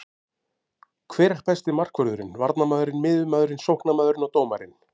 Hver er besti markvörðurinn, varnarmaðurinn, miðjumaðurinn, sóknarmaðurinn og dómarinn?